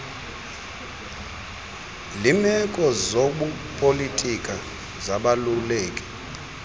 limeko zobupolitika zibalulekile